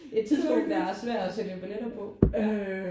Et tidspunkt der er svær at sælge biletter på ja